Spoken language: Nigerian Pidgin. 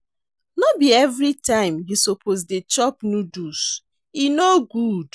No be everytime you suppose dey chop noodles, e no good.